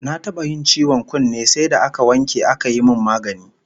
Na taba yin ciwon kunne sai da aka wanke aka yi min magani